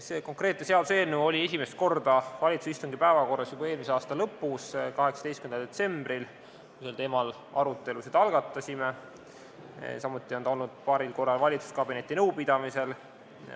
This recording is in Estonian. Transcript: See konkreetne seaduseelnõu oli esimest korda valitsuse istungi päevakorras juba eelmise aasta lõpus, 18. detsembril, kui me sel teemal arutelusid algatasime, samuti on ta olnud paaril korral valitsuskabineti nõupidamisel.